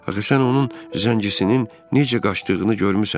Axı sən onun zəngisinin necə qaçdığını görmüsən.